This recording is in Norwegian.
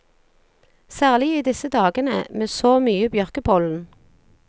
Særlig i disse dagene, med så mye bjørkepollen.